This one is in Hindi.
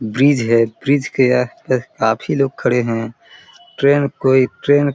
ब्रिज है ब्रिज के आस-पास काफी लोग खड़े हैं ट्रेन कोई ट्रेन --